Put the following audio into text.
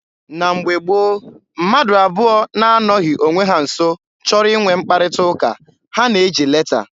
Na mgbe gboo, mmadụ abụọ na-anọghị onwe ha nso chọrọ inwe mkparịta ụka, ha na-eji leta.